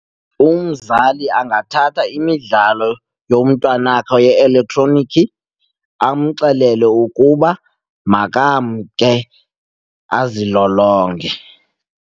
Umzali angathatha imidlalo yomntwanakhe ye-elektronikhi amxelele ukuba makamke azilolonge.